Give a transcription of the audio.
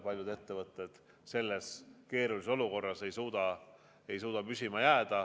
Paljud ettevõtted selles keerulises olukorras ei suuda püsima jääda.